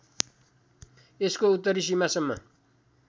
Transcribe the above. यसको उत्तरी सीमासम्म